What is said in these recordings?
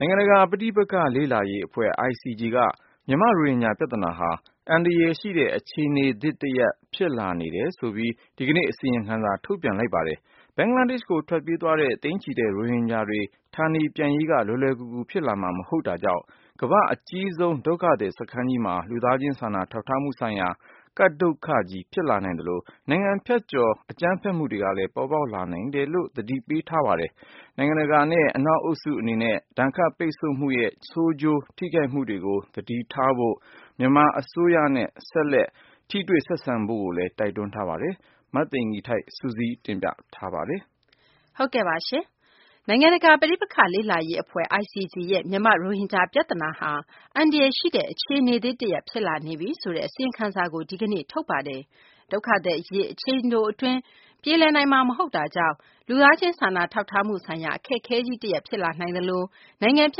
ိုင်ငံတကာ ပဋိပက္ခ လေ့လာရေး အဖွဲ့ ICG က မြန်မာ့ ရိုဟင်ဂျာ ပြသနာဟာ အန္တရာယ်ရှိတဲ့ အခြေအနေသစ် တရပ် ဖြစ်လာနေပြီဆိုပြီး ဒီကနေ့ အစီရင်ခံစာ ထုတ်ပြန်ပါတယ်။ ဘင်္ဂလားဒေရှ့်ကို ထွက်ပြေးရတဲ့ သိန်းနဲ့ချီတဲ့ ရိုဟင်ဂျာတွေ ဌာနေပြန်ရေးက လွယ်လွယ်ကူကူ ဖြစ်လာမှာ မဟုတ်တာကြောင့် ကမ္ဘာ့အကြီးဆုံး ဒုက္ခသည် စခန်းကြီးမှာ လူသားချင်း စာနာထောက်ထားမှုဆိုင်ရာ ကပ်ဒုက္ခကြီး ဖြစ်လာနိုင်သလို နိုင်ငံဖြတ်ကျော် အကြမ်းဖက်မှုတွေလည်း ပေါ်ပေါက်လာနိုင်တယ်လို့ သတိပေးထားပါတယ်။ နိုင်ငံတကာ အသိုင်းအဝိုင်း အထူးသဖြင့် အနောက်အုပ်စု အနေနဲ့ ဒဏ်ခတ်ပိတ်ဆို့မှုတွေရဲ့ ဆိုးကျိုး ထိခိုက်မှုတွေကို သတိထားဖို့၊ မြန်မာ အစိုးရနဲ့ ဆက်လက် ထိတွေ့ ဆက်ဆံဖို့လည်း တိုက်တွန်းထားပါတယ်။ မသိင်္ဂ ီထိုက် စုစည်းတင်ပြမှာပါ။ နိုင်ငံတကာ ပဋိပက္ခ လေ့လာရေး အဖွဲ့ ICG ရဲ့ မြန်မာ့ ရိုဟင်ဂျာ ပြသနာဟာ အန္တရာယ်ရှိတဲ့ အခြေအနေသစ်တရပ် ဖြစ်လာနေပြီဆိုတဲ့ အစီရင်ခံစာကို ဒီကနေ့ ထုတ်ပြန်တာပါ။ ဒုက္ခသည် အရေး အချိန်တို အတွင်း ပြေလည်နိုင်မှာ မဟုတ်တာကြောင့် လူသားချင်း စာနာထောက်ထားမှုဆိုင်ရာ အခက်အခဲကြီး တရပ် ဖြစ်လာနိုင်သလို နိုင်ငံဖြ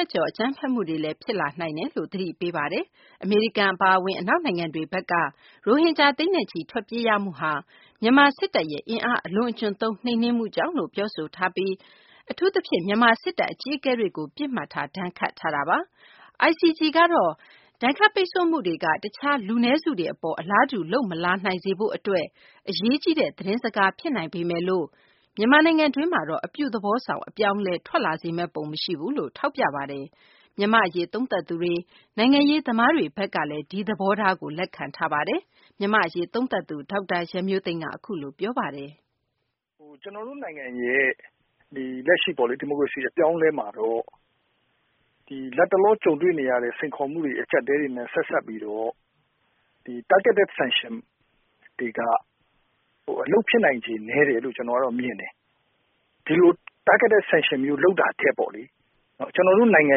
တ်ကျော် အကြမ်းဖက်မှုတွေလည်း ဖြစ်လာနိုင်တယ်လို့ သတိပေးထားတာပါ။ အမေရိကန် အပါအဝင် အနောက်နိုင်ငံတွေဘက်က ရိုဟင်ဂျာ သိန်းနဲ့ချီ ထွက်ပြေးရမှုဟာ မြန်မာ စစ်တပ်ရဲ့ အင်အား အလွန်အကျွံသုံး နှိမ်နင်းမှုကြောင့်လို့ ပြောဆိုထားပြီး အထူးသဖြင့် မြန်မာ စစ်တပ် အကြီးအကဲတွေကို ပစ်မှတ်ထား ဒဏ်ခတ်ထားတာပါ။ ICG ကတော့ ဒဏ်ခတ်ပိတ်ဆို့မှုတွေက တခြား လူနည်းစုတွေ အပေါ် အလားတူ လုပ်မလာနိုင်စေရေး အတွက် အရေးကြီးတဲ့ သတင်းစကား ဖြစ်နိုင်ပေမယ်လို့ မြန်မာနိုင်ငံတွင်းမှာတော့ အပြုသဘောဆောင် အပြောင်းအလဲ ထွက်လာစေမယ့် ပုံ မရှိဘူးလို့ ထောက်ပြထားပါတယ်။ မြန်မာ့အရေး သုံးသပ်သူတွေ နိုင်ငံရေး သမားတွေ ဘက်ကလည်း ဒီသဘောထားကို လက်ခံထားပါတယ်။ မြန်မာ့အရေး သုံးသပ်သူ ဒေါက်တာ ရန်မျိုးသိန်းက ပြောပါတယ်။ " ကျနော်တို့နိုင်ငံရဲ့ လက်ရှိ ဒီမိုကရေစီအပြောင်းအလဲမှာတော့ လတ်တလောကြုံနေရတဲ့ စိန်ခေါ်မှုတွေအကျပ်အတည်းတွေ နဲ့ ဆက်စပ်ပြီးတော့ Targeted Sanctions တွေက အလုပ်ဖြစ်နိုင်ခြေ နည်းတယ်လို့ ကျနော်ကတော့မြင်တယ်။ ဒီလိုTargeted Sanctions မျိုး လုပ်တာထက်ပေါ့ ကျနော်တို့နိုင်ငံ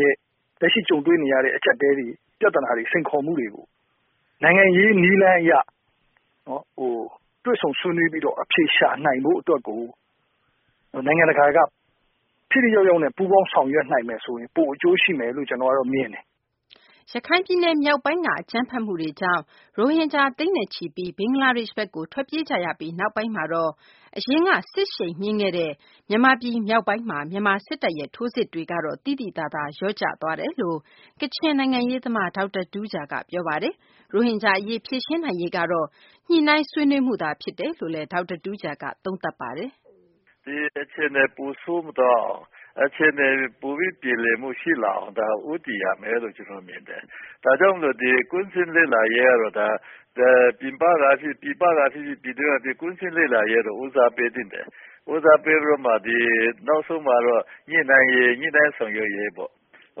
ရဲ့ လက်ရှိကြုံတွေ့နေရတဲ့ အကျပ်အတည်းတွေ ပြသနာတွေ စိန်ခေါ်မှုတွေကို နိုင်ငံရေးနည်းလမ်းအရ တွေ့ဆုံဆွေးနွေးပြီးတော့ အဖြေရှာနိုင်ဖို့အတွက်ကို နိုင်ငံတကာ ထိထိရောက်ရောက်နဲ့ ပူးပေါင်းဆောင်ရွက်နိုင်မယ်ဆိုရင် ပိုအကျိုးရှိမယ်လို့ ကျနော်ကတော့ မြင်တယ်။" ရခိုင်ပြည်နယ်မြောက်ပိုင်းက အကြမ်းဖက်မှုတွေကြောင့် ရိုဟင်ဂျာ သိန်းနဲ့ချီပြီး ဘင်္ဂလားဒေရှ့်ဘက်ကို ထွက်ပြေးကြရပြီး နောက်ပိုင်းမှာတော့ အရင်က စစ်ရှိန်မြင့်ခဲ့တဲ့ မြန်မာပြည် မြောက်ပိုင်းမှာ မြန်မာ စစ်တပ်ရဲ့ ထိုးစစ်တွေ သိသိသာသာ လျော့ကျသွားတယ် လို့ ကချင်နိုင်ငံရေးသမား ဒေါက်တာ တူးဂျာက ပြောပါတယ်။ ရိုဟင်ဂျာ အရေး ဖြေရှင်းနိုင်ရေးကတော့ ညှိနှိုင်းဆွေးနွေးမှုသာ ဖြစ်တယ်လို့လည်း ဒေါက်တာ တူးဂျာက သုံးသပ်တာပါ။ " ဒီအခြေအနေ ပိုဆိုးမသွားအောင် အခြေအနေတွေ ပိုပြီး ပြေလည်မှုရှိလာအောင် ဦးတည်ရမယ်လို့ ကျနော်မြင်တယ်။ ဒါကြောင့်မို့လို့ ကွင်းဆင်းလေ့လာရေးကတော့ ပြည်ပကဖြစ်ဖြစ် ပြည်တွင်းကဖြစ်ဖြစ် ကွင်းဆင်းလေ့လာရေးက ဦးစားပေးသင့်တယ်။ ဦးစားပေးပြီးတော့ နောက်ဆုံးမှာတော့ ညှိနှိုင်းရေး ဆောင်ရွက်ရေးပေါ့ ဥပ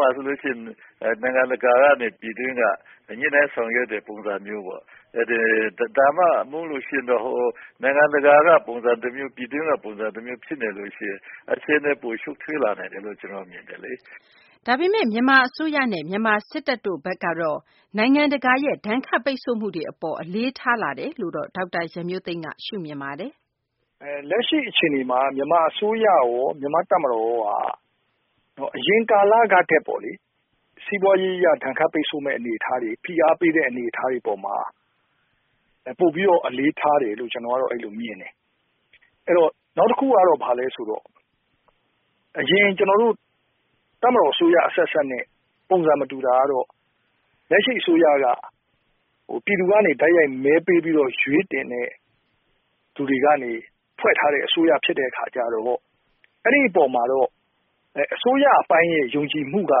မာဆိုရင် နိုင်ငံတကာနဲ့ပြည်တွင်း ညှိနှိုင်းဆောင်ရွက်တဲ့ပုံစံမျိုးပေါ့။ ဒါမှမဟုတ်ရင်တော့ နိုင်ငံတကာကပုံစံတမျိုး ပြည်တွင်းက ပုံစံတမျိုး ဖြစ်နေလို့ရှိရင် အခြေအနေ ပိုရှုပ်ထွေးလာနိုင်တယ်လို့ ကျနော်မြင်တယ်လေ။" ဒါပေမယ့် မြန်မာ အစိုးရနဲ့ မြန်မာ စစ်တပ် တို့ အနေနဲ့ နိုင်ငံတကာရဲ့ ဒဏ်ခတ် ပိတ်ဆို့မှုတွေ အပေါ် အလေးထားတယ်လို့တော့ ဒေါက်တာ ရန်မျိုးသိန်းက ရှုမြင်ပါတယ်။ " လက်ရှိအခြေအနေမှာ မြန်မာအစိုးရရော မြန်မာ့တပ်မတော်ကရောပေါ့လေ အရင်ကာလကထက်ပေါ့ စီးပွားရေး ဒဏ်ခတ်ပိတ်ဆို့မယ့်အနေအထားတွေ ဖိအားပေးတဲ့ အနေအထားတွေအပေါ်မှာ ပိုပြီးတော့ အလေးထားတယ်လို့ ကျနော်ကတော့ အဲ့လိုမြင်တယ်။ အဲ့တော့ နောက်တခုကတော့ ဘာလဲဆိုတော့ အရင်ကျနော်တို့ တပ်မတော် အစိုးရအဆက်ဆက်နဲ့ ပုံစံမတူတာကတော့ လက်ရှိအစိုးရက ပြည်သူကနေ တိုက်ရိုက်မဲပေးပြီးတော့ ရွေးတင်တဲ့သူတွေကနေ ဖွဲ့ထားတဲ့အစိုးရဖြစ်တဲ့အခါကျတော့ အဲ့ဒီ့အပေါ်မှာတော့ အစိုးရအပိုင်းရဲ့ ယုံကြည်မှုက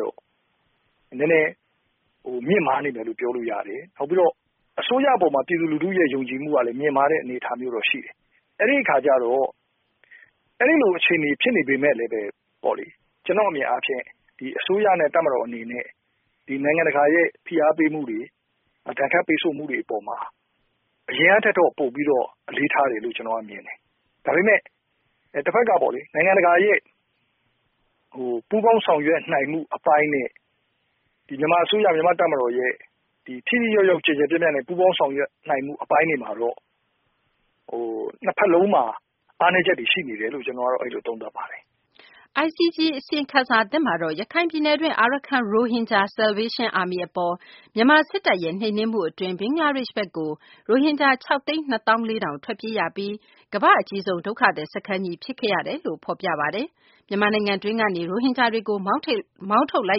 တော့ နည်းနည်းမြင့်မားနေတယ်လို့ ပြောလို့ရတယ်။ နောက်ပြီးတော့ အစိုးရအပေါ်မှာ ပြည်သူလူထုရဲ့ယုံကြည်မှုကလည်း မြင့်မားတဲ့အနေအထားမျိုးတော့ရှိတယ်။ အဲ့ဒီ့အခါကျတော့ အဲ့လိုအခြေအနေဖြစ်နေပေမဲ့ လည်း ကျနော့်အမြင်အားဖြင့် အစိုးရနဲ့ တပ်မတော်အနေနဲ့ နိုင်ငံတကာရဲ့ ဖိအားပေးမှုတွေ ဒဏ်ခတ်ပိတ်ဆို့မှုတွေ အပေါ်မှာ အရင်ကထက်တော့ ပိုပြီးတော့ အလေးထားတယ်လို့ ကျနော်ကတော့မြင်တယ်။ ဒါပေမဲ့ တဘက်က နိုင်ငံတကာရဲ့ ပူးပေါင်းဆောင်ရွက်နိုင်မှု အပိုင်းနဲ့ မြန်မာအစိုးရ မြန်မာ့တပ်မတော်ရဲ့ ထိထိရောက်ရောက် ကျယ်ကျယ်ပြန့်ပြန့် ပူးပေါင်းဆောင်ရွက်နိုင်မှု အပိုင်းတွေမှာ နှစ်ဘက်စလုံးမှာ အားနည်းချက်တွေရှိတယ်လို့ ကျနော်ကတော့ အဲ့လိုသုံးသပ်ပါတယ်။ " ICG အစီရင်ခံစာသစ်မှာတော့ ရခိုင်ပြည်နယ်တွင်း Arkhan Rohingya Salvation Army အပေါ် မြန်မာ စစ်တပ်ရဲ့ နှိမ်နင်းမှု အတွင်း ဘင်္ဂလားဒေရှ့်ဘက်ကို ရိုဟင်ဂျာ ၆ သိန်း ၂ သောင်း ၄ ထောင် ထွက်ပြေးရပြီး ကမ္ဘာ့ အကြီးဆုံး ဒုက္ခသည် စခန်းကြီး ဖြစ်ခဲ့ရတယ်လို့လည်း ဖော်ပြထားပါတယ်။ မြန်မာနိုင်ငံတွင်းကနေ ရိုဟင်ဂျာတွေကို မောင်းထုတ်လို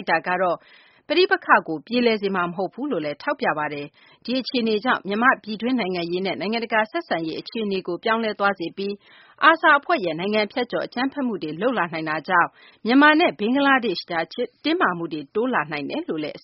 က်တာကတော့ ပဋိပက္ခကို ပြေလည်စေမှာ မဟုတ်ဘူးလို့လည်း ထောက်ပြထားပါတယ်။ ဒီအခြေအနေကြောင့် မြန်မာ့ ပြည်တွင်း နိုင်ငံရေးနဲ့ နိုင်ငံတကာ ဆက်ဆံရေး အခြေအနေကို ပြောင်းလဲသွားစေပြီး ARSA အဖွဲ့က နိုင်ငံဖြတ်ကျော် အကြမ်းဖက်မှုတွေ လုပ်လာနိုင်တာကြောင့် မြန်မာနဲ့ ဘင်္ဂလားဒေရှ့်ကြား တင်းမာမှုတွေ တိုးလာနိုင်တယ်လို့လည်း အစ